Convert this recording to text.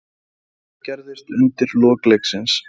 Hvað gerðist undir lok leiksins?